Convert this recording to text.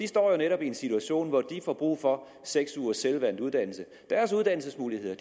står jo netop i en situation hvor de får brug for seks ugers selvvalgt uddannelse deres uddannelsesmuligheder